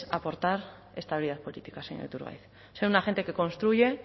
aportar estabilidad política señor iturgaiz una gente que construye